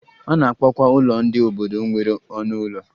A na-akpọkwa ụlọ ndị obodo nwere ọnụ ụlọ